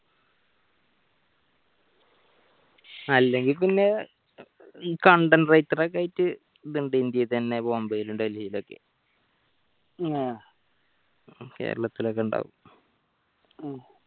അല്ലെങ്കിൽ പിന്നെ content writer ക്കെ ആയിട്ട് ഇത്ണ്ട് ഇന്ത്യയിൽ തന്നെ ബോംബെയിലും ഡൽഹിയിൽ ഒക്കെ കേരളത്തിലൊക്കെ ഉണ്ടാവും